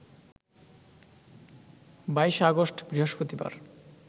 ২২ August, বৃহস্পতিবার